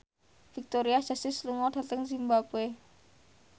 Victoria Justice lunga dhateng zimbabwe